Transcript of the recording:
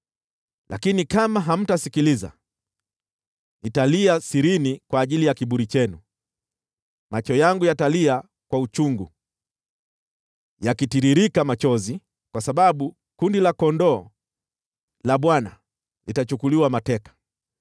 Lakini kama hamtasikiliza, nitalia sirini kwa ajili ya kiburi chenu; macho yangu yatalia kwa uchungu, yakitiririka machozi, kwa sababu kundi la kondoo la Bwana litachukuliwa mateka.